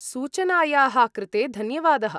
सूचनायाः कृते धन्यवादः।